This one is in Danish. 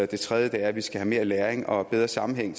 det tredje er at vi skal have mere læring og bedre sammenhæng